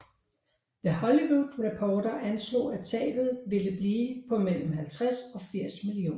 The Hollywood Reporter anslog at tabet ville blive på mellem 50 og 80 mio